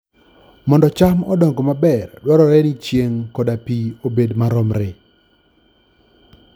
Mondo cham odong maber, dwarore ni chieng' koda pi obed maromre.